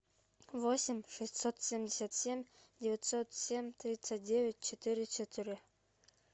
восемь шестьсот семьдесят семь девятьсот семь тридцать девять четыре четыре